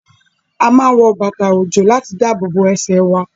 A máa n wọ bàtà ojo láti dáàbòbo ẹsẹ wà